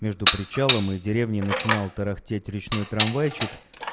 между причалом и деревней начинал тарахтеть речной трамвайчик